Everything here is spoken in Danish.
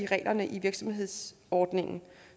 reglerne i virksomhedsordningen